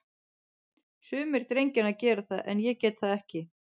Sumir drengjanna gera það, en ég get það ekki.